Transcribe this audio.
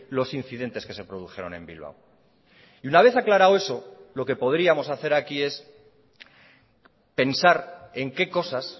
los incidentes que se produjeron en bilbao y una vez aclarado eso lo que podríamos hacer aquí es pensar en qué cosas